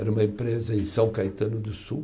Era uma empresa em São Caetano do Sul.